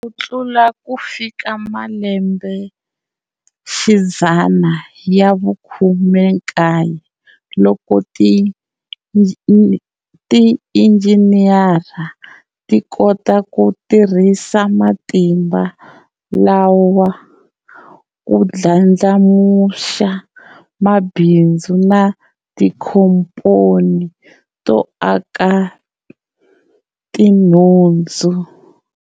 Ku kala ku fika malembexidzana ya vu khume nkaye, loko tiinjiniyera ti kota ku tirhisa matimba lawa ku ndlandlamuxa mabhindzu na tinkomponi to aka tinhundzu.